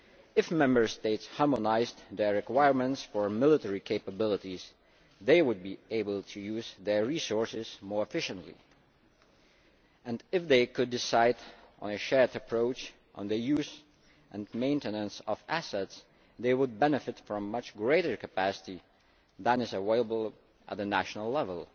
If Member States harmonised their requirements for military capabilities, they would be able to use their resources more efficiently. If they could decide on a shared approach on the use and maintenance of assets, they would benefit from much greater capacity than is available at the national level.